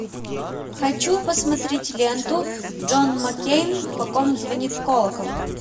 хочу посмотреть ленту джон маккейн по ком звонит колокол